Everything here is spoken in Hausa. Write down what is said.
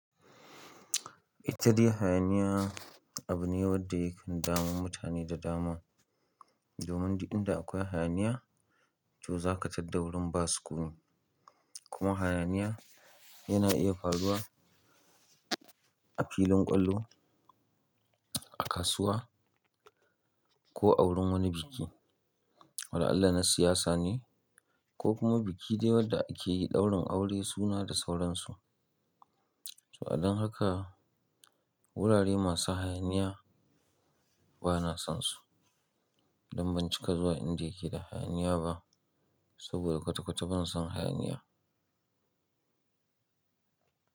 Ita dai hayaniya abu ne wadda yake damun mutane da dama. Domin duk inda akwai hayaniya to za ka tadda wurin ba sukuni. Kuma hayaniya yana iya faruwa a filin kwallo, a kasuwa ko a wurin wani biki. Wala'allah na siyasa ne, ko kuma biki dai wadda ake yi daurin aure suna da sauransu. To a dan haka wurare masu hayaniya ba na son su. Don ban cika zuwa inda yake da hayaniya ba saboda kwata-kwata ban son hayaniya.